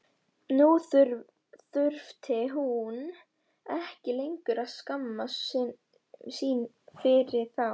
Nú þurfti hún ekki lengur að skammast sín fyrir þá.